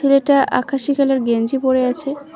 ছেলেটা আকাশী কালার গেঞ্জি পড়ে আছে।